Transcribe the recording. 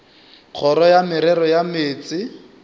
kgoro ya merero ya meetse